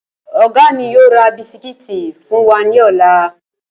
Ọ̀gá mi yóò ra bisikíìtì fún wa ní ọ̀la